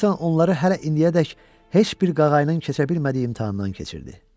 Jonathan onları hələ indiyədək heç bir qağayının keçə bilmədiyi imtahandan keçirdi.